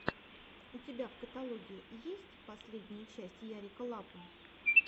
у тебя в каталоге есть последняя часть ярика лапы